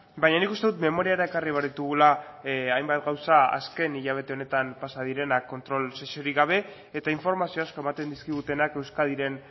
baina nik uste dut memoriara ekarri behar ditugula hainbat gauza azken hilabete honetan pasa direnak kontrol sesiorik gabe eta informazio asko ematen dizkigutenak euskadiren